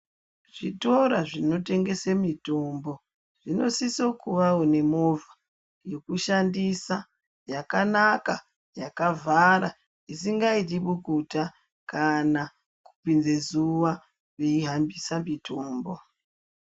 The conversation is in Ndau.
Zvitora zvinotengese mutombo zvinosisa kuvawo nemovha yekushandisa yakanaka yakavhara isingaiti bukuta kana kupinze zuwa yeihambisa mutombo.